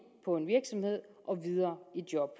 på en virksomhed og videre i job